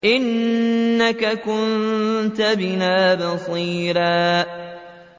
إِنَّكَ كُنتَ بِنَا بَصِيرًا